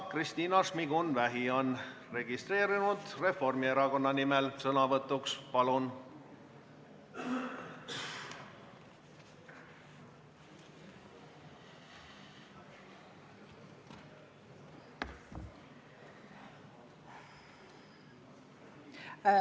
Kristina Šmigun-Vähi on registreerunud Reformierakonna nimel sõnavõtuks, palun!